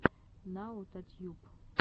наотатьюб